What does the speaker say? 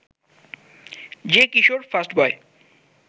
যে কিশোর ফার্স্টবয়